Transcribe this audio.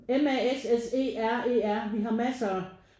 M A S S E R E R vi har massere